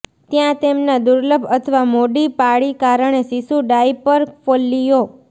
ત્યાં તેમના દુર્લભ અથવા મોડી પાળી કારણે શિશુ ડાયપર ફોલ્લીઓ